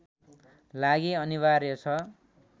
लागि अनिवार्य छ